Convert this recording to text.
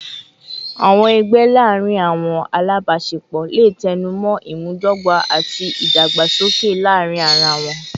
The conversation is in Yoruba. Awọn ẹgbẹ laarin awọn alabaṣepọ le tẹnumọ imudogba ati idagbasoke laarin ara wọn